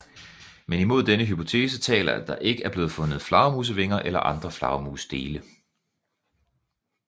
Men imod denne hypotese taler at der ikke er blevet fundet flagermusvinger eller andre flagermusdele